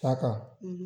Ta kan